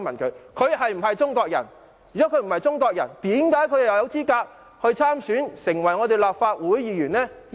假如他不是中國人，為何他有資格參選，成為立法會議員？